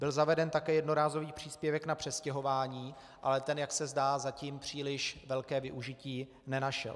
Byl zaveden také jednorázový příspěvek na přestěhování, ale ten, jak se zdá, zatím příliš velké využití nenašel.